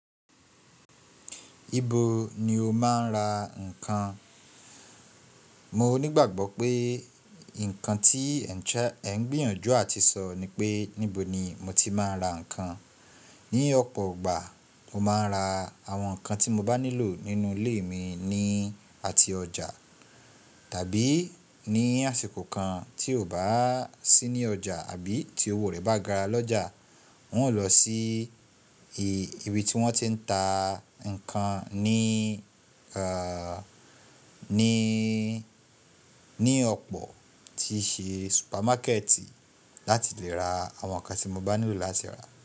Ibo ni o máa ń ra ǹkan? Mo nígbàgbọ́ pé ǹkan tí ẹ ń gbìyànjú àti sọ ni pé níbo ni mo ti máa ń ra ǹkan. Ni ọ̀pọ̀ gbà mo máa ń ra àwọn ǹkan tí mo bá nílò nínú ilé mi ní àti ọjà. Tàbí ní àsìkò kan tí ò bá sí ní ọjà àbí tí owó rẹ bá gara lọ́jà, wọn ó lọ sí ibi tí wọ́n ti ń ta ǹkan ní, ẹ, ní, ní ọ̀pọ̀ tí i ṣe supermarket láti lè ra àwọn ǹkan tí mo bá nílò láti rà.